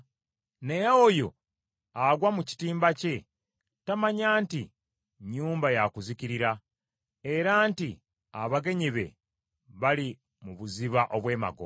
Naye oyo agwa mu kitimba kye tamanya nti nnyumba yakuzikirira, era nti abagenyi be bali mu buziba obw’emagombe.